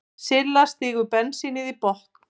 Silla stígur bensínið í botn.